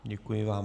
Děkuji vám.